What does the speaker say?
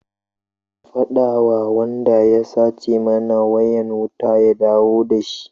Ka faɗa wa wanda ya sace mana wayan wuta ya dawo da shi!